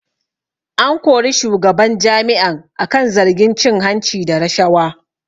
An kori shugaban jami'an akan zargin cin hanci da rashawa